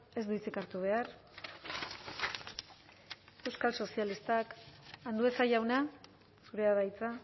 ez du hitzik hartu behar euskal sozialistak andueza jauna zurea da hitza